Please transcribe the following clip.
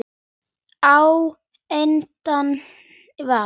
Á endanum var